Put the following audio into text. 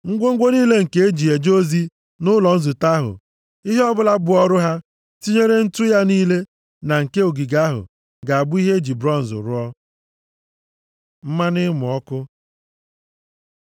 Ngwongwo niile nke e ji eje ozi nʼụlọ nzute ahụ, ihe ọbụla bụ ọrụ ha, tinyere ǹtu ya niile na nke ogige ahụ, ga-abụ ihe e ji bronz rụọ. Mmanụ ịmụ ọkụ